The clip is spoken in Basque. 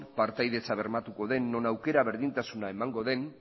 partaidetza bermatuko den non aukera berdintasuna emango den